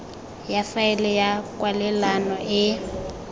ya faele ya kwalelano e